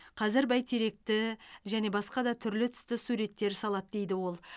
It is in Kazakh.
қазір бәйтеректі және басқа да түрлі түсті суреттер салады дейді ол